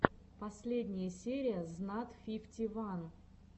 последняя серия знат фифти ван